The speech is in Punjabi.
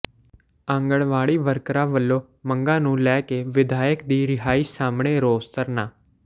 ਆਂਗਣਵਾੜੀ ਵਰਕਰਾਂ ਵਲੋਂ ਮੰਗਾਂ ਨੂੰ ਲੈ ਕੇ ਵਿਧਾਇਕ ਦੀ ਰਿਹਾਇਸ਼ ਸਾਹਮਣੇ ਰੋਸ ਧਰਨਾ